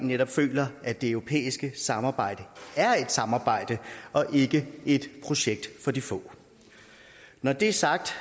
netop føler at det europæiske samarbejde er et samarbejde og ikke et projekt for de få når det er sagt